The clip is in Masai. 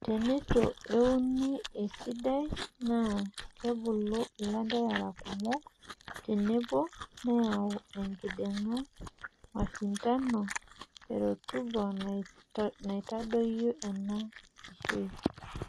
Teneitu euniesidai naa kebulu lanterera kumok tenebo neyau enkiding'a, mashindano e rutuba neitadoyio ena eishoi.